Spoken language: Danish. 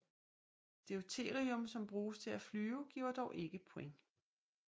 Deuterium som bruges til at flyve giver dog ikke points